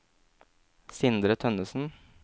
Sindre Tønnesen